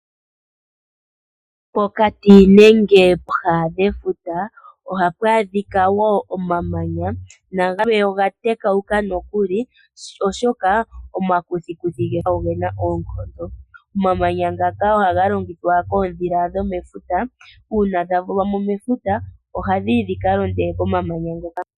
Pokati nenge pooha dhefuta ohapu adhika wo omamanya, na gamwe oga tekauka nokuli oshoka omakuthiikuthi ogena oonkondo. Omamanya ngaka ohaga longithwa koodhila dho mefuta uuna dha vulwa mo mefuta, oha dhiyi dhika londe komamanya ngaka.